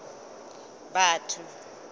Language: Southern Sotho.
batho